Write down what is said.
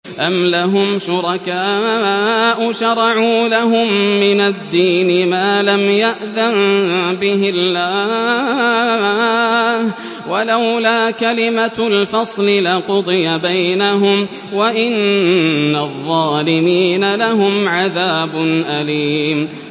أَمْ لَهُمْ شُرَكَاءُ شَرَعُوا لَهُم مِّنَ الدِّينِ مَا لَمْ يَأْذَن بِهِ اللَّهُ ۚ وَلَوْلَا كَلِمَةُ الْفَصْلِ لَقُضِيَ بَيْنَهُمْ ۗ وَإِنَّ الظَّالِمِينَ لَهُمْ عَذَابٌ أَلِيمٌ